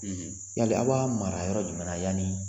yali a' b'a mara yɔrɔ jumɛn na yani.